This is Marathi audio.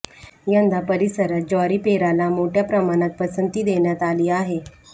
यंदा परिसरात ज्वारी पेराला मोठ्या प्रमाणात पसंती देण्यात आली आहे